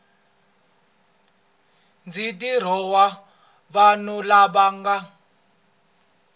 ndzi dirowa vanhu lava nga